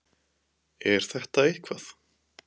Er þetta eitthvað?